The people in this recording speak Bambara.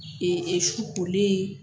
E e su kolen